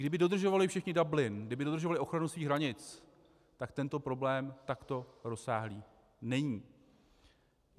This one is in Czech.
Kdyby dodržovali všichni Dublin, kdyby dodržovali ochranu svých hranic, tak tento problém takto rozsáhlý není.